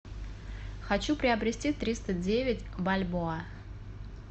хочу приобрести триста девять бальбоа